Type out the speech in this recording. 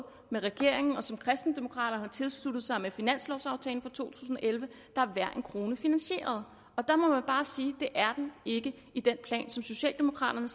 med regeringen og som kristendemokraterne har tilsluttet sig med finanslovaftalen for to tusind og elleve er hver en krone finansieret og der må man bare sige at det er den ikke i den plan som socialdemokraterne